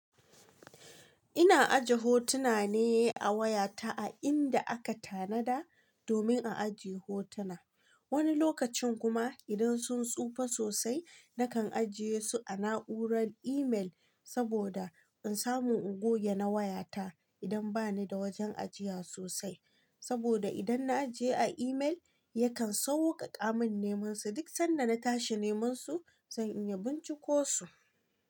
Ina aje hotuna ne a wayata a inda aka tanada domin na aje hotuna. Wani lokacin kuma idan sun tsufa sosai, na kan ajiye su a na'urar email saboda in samu goge na wayata idan bani da wajen ajiya sosai. Saboda idan na ajiye a imel, yakan sauƙaƙa min neman su duk sanda na tashi neman su, zan iya binciko su.